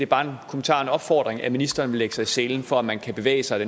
bare en kommentar en opfordring at ministeren vil lægge sig i selen for at man kan bevæge sig